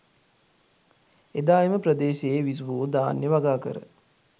එදා එම ප්‍රදේශයේ විසුවෝ ධාන්‍ය වගාකර